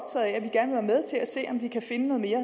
vi kan finde noget mere